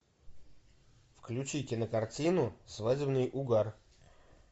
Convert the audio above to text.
включи кинокартину свадебный угар